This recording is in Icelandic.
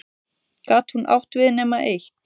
Gat hún átt við nema eitt?